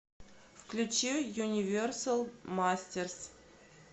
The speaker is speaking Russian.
включи юниверсал мастерс